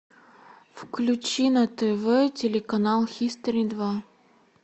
включи на тв телеканал хистори два